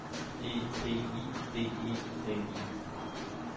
E P I D E M I